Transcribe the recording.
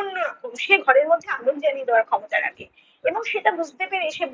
অন্য রকম সে ঘরের মধ্যে আগুন জ্বালিয়ে দেওয়ার ক্ষমতা রাখে। এবং সেটা বুঝতে পেরে সে